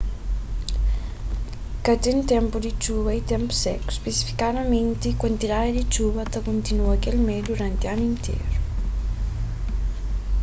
ka ten ténpu di txuba y ténpu seku spesifikamenti kuantidadi di txuba ta kontinua kel mé duranti anu interu